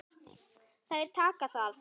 Þær þakka það.